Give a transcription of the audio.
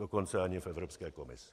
Dokonce ani v Evropské komisi.